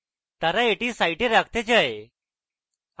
তারা এটি site রাখতে চায়